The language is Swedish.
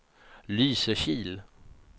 Lysekil